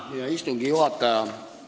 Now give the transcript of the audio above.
Hea istungi juhataja!